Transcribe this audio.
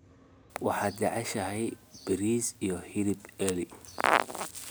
waxaad jeceshahay bariis iyo hilib ari